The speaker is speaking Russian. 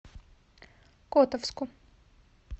котовску